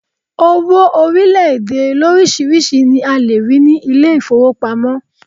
Owo orílẹ̀ èdè lórísìíríìsí ni a lè rí ní ilé ìfowópamọ́.